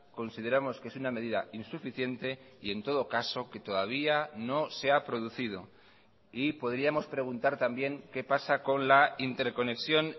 consideramos que es una medida insuficiente y en todo caso que todavía no se ha producido y podríamos preguntar también qué pasa con la interconexión